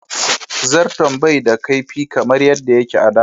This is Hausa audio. Zarton bai da kaifi kamar yadda yake a da.